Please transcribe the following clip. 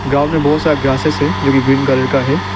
Ground मे बहुत सारा ग्रासेस है जोकि ग्रीन कलर का है।